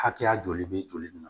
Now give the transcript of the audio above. Hakɛya joli bɛ joli nin na